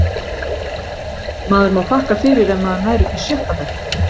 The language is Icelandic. Maður má þakka fyrir ef maður nær upp í sjötta bekk.